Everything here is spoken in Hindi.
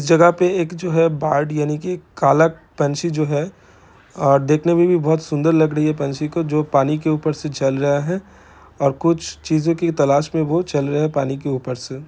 इस जगह पे एक जो है बार्ड यानि के काला पंछी जो है अ देखने मे भी बहुत सुंदर लग रही है पंछी को जो पानी के ऊपर से चल रहा है और कुछ चीजों की तलाश मे वो चल रहा है पानी के ऊपर से----